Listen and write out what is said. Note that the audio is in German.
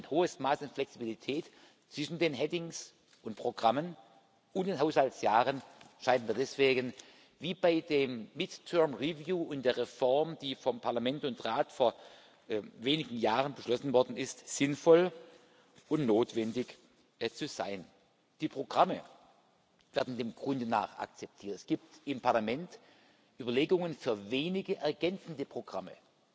Ein hohes Maß in Flexibilität zwischen den headings und Programmen und den Haushaltsjahren scheint mir deswegen, wie bei dem midterm review und der Reform, die vom Parlament und vom Rat vor wenigen Jahren beschlossen worden ist, sinnvoll und notwendig zu sein. Die Programme werden dem Grunde nach akzeptiert. Es gibt im Parlament Überlegungen für wenige ergänzende Programme